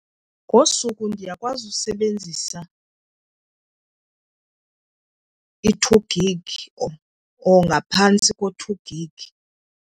Ngosuku ndiyakwazi usebenzisa i-two gig or ngaphantsi ko-two gig.